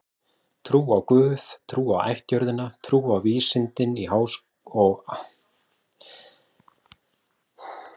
Trú á guð, trú á ættjörðina, trú á vísindin á Háskólinn að glæða.